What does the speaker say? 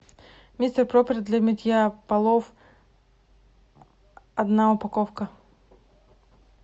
мистер пропер для мытья полов одна упаковка